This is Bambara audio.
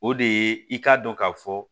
O de ye i k'a dɔn ka fɔ